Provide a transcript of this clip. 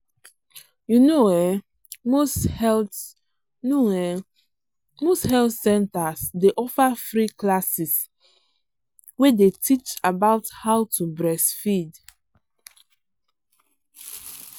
you know ehnmost health know ehnmost health centers day offer free classes way day teach about how to breastfeed.